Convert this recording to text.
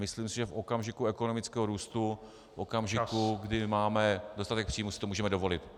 Myslím si, že v okamžiku ekonomického růstu , v okamžiku, kdy máme dostatek příjmů, si to můžeme dovolit.